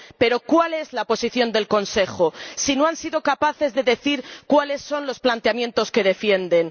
Pero ¿cuál es la posición del Consejo si no han sido capaces de decir cuáles son los planteamientos que defienden?